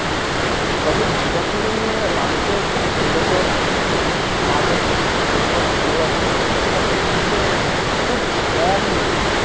তবে এই দূর্গা পূজো নিয়ে মানুষের যেরকম আবেগ, যেরকম ভালোবাসা সেটা পৃথিবীতে খুব কমই রয়েছে।